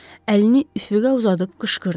Əlini üfüqə uzadıb qışqırdı.